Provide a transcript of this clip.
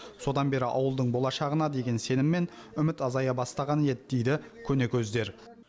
содан бері ауылдың болашағына деген сенім мен үміт азая бастаған еді дейді көнекөздер